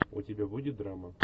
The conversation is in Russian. у тебя будет драма